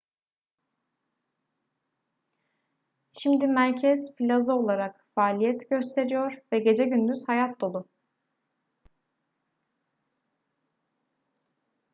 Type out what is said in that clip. şimdi merkez plaza olarak faaliyet gösteriyor ve gece gündüz hayat dolu